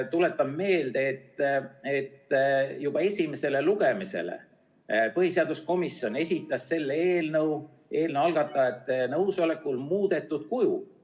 Tuletan meelde, et juba esimesele lugemisele põhiseaduskomisjon esitas selle eelnõu algatajate nõusolekul muudetud kujul.